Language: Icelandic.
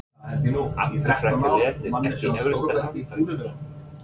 Allir frekar léttir Ekki erfiðasti andstæðingur?